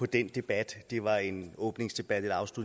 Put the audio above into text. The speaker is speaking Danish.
den debat ja det var en åbningsdebat eller